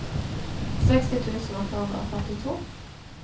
seksti tusen åtte hundre og førtito